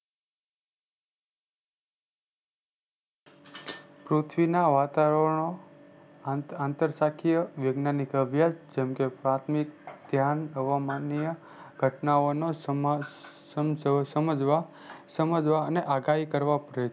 પૃથ્વીના આકારો નો આંતર સાકીય વેદના ની જેમકે પાથમિક ધ્યાન હવામાનીય ઘટનાઓ ને સમજવા અને આગાહી કરવા પડે છે